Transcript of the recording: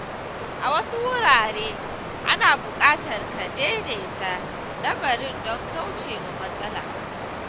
A wasu wurare, ana buƙatar ka “daidaita” lamarin don kauce wa matsala.